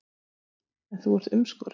En þú ert umskorinn.